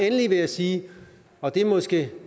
endelig vil jeg sige og det er måske